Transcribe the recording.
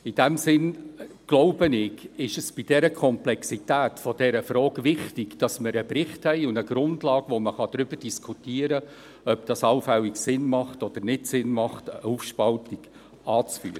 In dem Sinn glaube ich, ist es angesichts der Komplexität dieser Frage wichtig, dass wir einen Bericht haben und eine Grundlage, über die man diskutieren kann, ob es Sinn macht oder nicht, eine allfällige Aufspaltung anzuführen.